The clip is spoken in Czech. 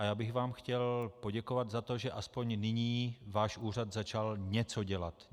A já bych vám chtěl poděkovat za to, že aspoň nyní váš úřad začal něco dělat.